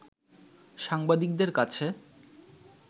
সাংবাদিকদের কাছে